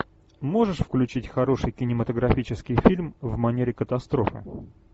можешь включить хороший кинематографический фильм в манере катастрофы